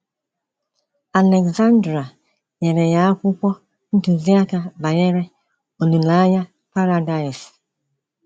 Alexandra nyere ya akwụkwọ ntuziaka banyere olileanya Paradaịs.